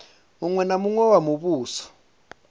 muṅwe na muṅwe wa muvhuso